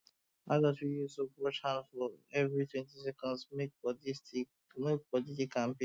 adults fit use soap wash hand sharp for everitwentyseconds make body dey kampe